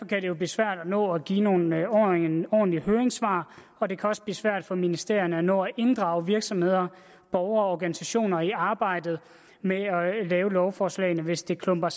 det jo blive svært at nå at give nogle ordentlige nogle ordentlige høringssvar og det kan også blive svært for ministerierne at nå at inddrage virksomheder borgere og organisationer i arbejdet med at lave lovforslagene hvis det klumper